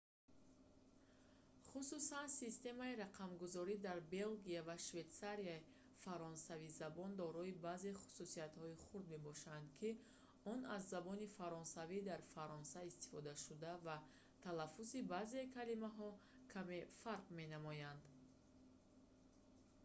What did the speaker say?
хусусан системаи рақамгузорӣ дар белгия ва швейтсарияи фаронсавизабон дорои баъзе хусусиятҳои хурд мебошад ки он аз забони фаронсавии дар фаронса истифодашуда ва талаффузи баъзеи калимаҳо каме фарқ менамояд